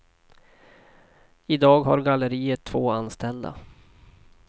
I dag har galleriet två anställda.